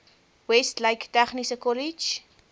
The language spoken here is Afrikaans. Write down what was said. westlake tegniese kollege